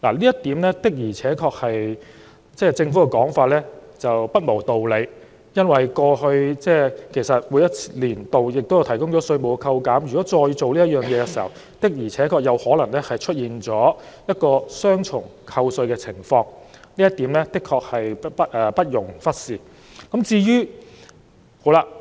就此，政府的說法確實不無道理，因為在過往每個年度，政府也有提供稅務扣減，如果今年作出以上安排，確實可能會出現雙重扣稅的情況，這一點不容忽視。